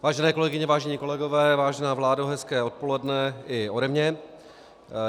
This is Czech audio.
Vážené kolegyně, vážení kolegové, vážená vládo, hezké odpoledne i ode mě.